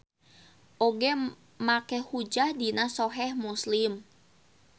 Oge make hujjah dina Soheh Muslim.